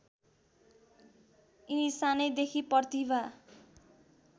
यिनी सानैदेखि प्रतिभा